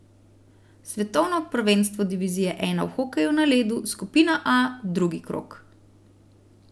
Svetovno prvenstvo divizije I v hokeju na ledu, skupina A, drugi krog.